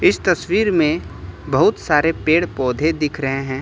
इस तस्वीर में बहुत सारे पेड़ पौधे दिख रहे हैं।